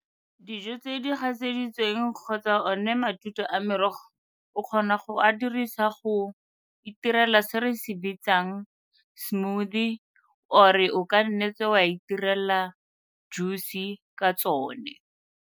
Dijo tse di gatseditsweng kgotsa one matute a merogo o kgona go a dirisa go itirela se re se bitsang smoothie or-e o ka nnetse wa itirela juice-i ka tsone.